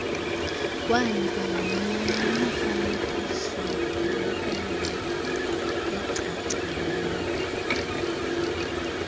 kwanikwa nemifanekisoontelekelelo eeacileyo